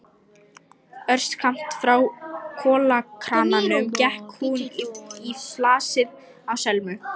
Örskammt frá kolakrananum gekk hún í flasið á Selmu.